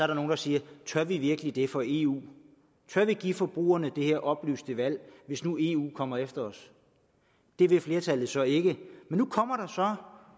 der nogle der siger tør vi virkelig det for eu tør vi give forbrugerne det her oplyste valg hvis nu eu kommer efter os det vil flertallet så ikke